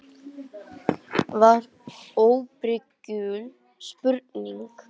var óbrigðul spurning.